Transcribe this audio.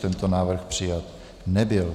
Tento návrh přijat nebyl.